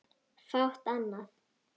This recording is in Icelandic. Fátt annað.